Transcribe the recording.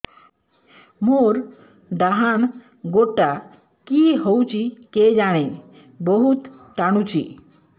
ମୋର୍ ଡାହାଣ୍ ଗୋଡ଼ଟା କି ହଉଚି କେଜାଣେ ବହୁତ୍ ଟାଣୁଛି